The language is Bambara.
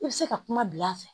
I bɛ se ka kuma bil'a fɛ